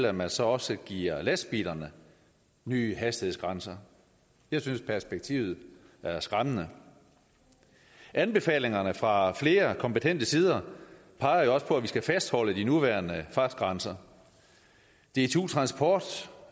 at man så også giver lastbilerne nye hastighedsgrænser jeg synes perspektivet er skræmmende anbefalingerne fra flere kompetente sider peger jo også på at vi skal fastholde de nuværende fartgrænser dtu transport